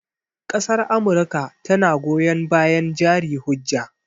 Ƙasar amurka tana goyon bayan jari hujja